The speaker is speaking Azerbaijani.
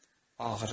Ağrı.